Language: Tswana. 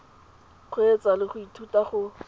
kgweetsa le go ithuta go